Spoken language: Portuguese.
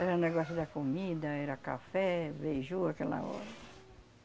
Era negócio da comida, era café, beiju aquela hora.